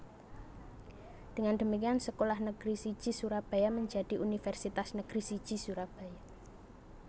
Dengan demikian sekolah negeri siji Surabaya menjadi universitas negeri siji Surabaya